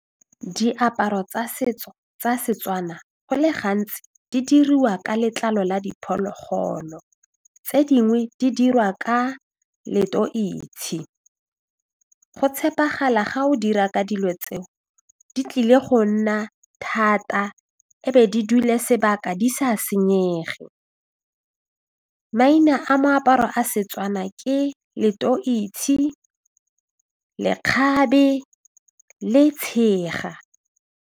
Diaparo tsa setso tsa Setswana go le gantsi di diriwa ka letlalo la diphologolo, tse dingwe di dirwa ka go tshepagala ga o dira ka dilo tseo di tlile go nna thata e be di dule sebaka di sa senyege, maina a meaparo a setswana ke loteise, lekgabe le tshega.